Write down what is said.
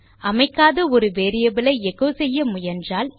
அமைக்காத ஒரு வேரியபிள் ஐ எச்சோ செய்ய முயன்றால்